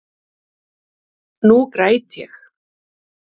Nú græt ég.